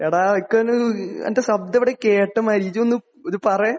എടാ എനിക്കൊരു നിന്റെ ശബ്ദം എവിടെയോ കേട്ട മാതിരി. നീ ഒന്ന് ഇത് പറയ്.